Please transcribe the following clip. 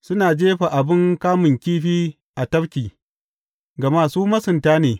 Suna jefa abin kamun kifi a tafki, gama su masunta ne.